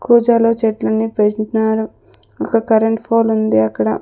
కూజాలో చెట్లని పెట్నారు ఒక కరెంట్ ఫోలుంది అక్కడ.